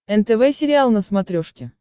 нтв сериал на смотрешке